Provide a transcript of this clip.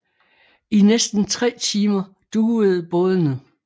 I næsten tre timer duvede bådene